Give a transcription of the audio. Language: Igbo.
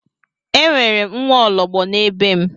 E nwere m nwaologbo na be m.